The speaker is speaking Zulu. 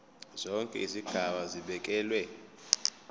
zonke izigaba zibekelwe